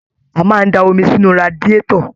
A máa n da omi sinú radiatọ̀.